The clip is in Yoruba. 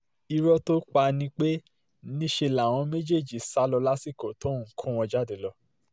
ìró tó pa ni pé níṣẹ́ làwọn méjèèjì sá lọ lásìkò tóun ń kó wọn jáde lọ